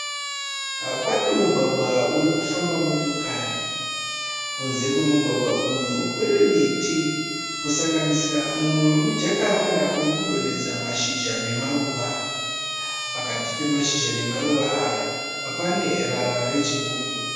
Pane mugwagwa uri kufamba motokari. Kunze kwomugwagwa uyu kune miti kusanganisira mumwe womujakaranda uri kudonhedza mashizha namaruva. Pakati pemashizha namaruva aya pane rara rechigubhu.